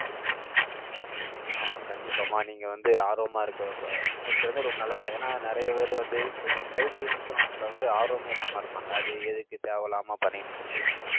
ஆஹ் கண்டிப்பாம்மா, நீங்க வந்து, ஆர்வமா இருக்க வ~ இருக்கிறது, ரொம்ப நல்லதுதான். ஏன்னா, நிறைய பேர் வந்து, இந்த health insurance ல வந்து, ஆர்வமே இல்லாம இருப்பாங்க. அது, எதுக்கு, தேவையில்லாம பண்ணிட்டுன்ட்டு